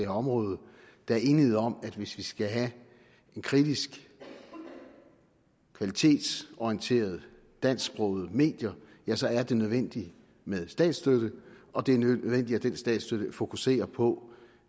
område at der er enighed om at hvis vi skal have kritiske kvalitetsorienterede dansksprogede medier ja så er det nødvendigt med statsstøtte og det er nødvendigt at den statsstøtte fokuserer på